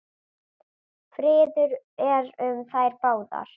Friður er um þær báðar.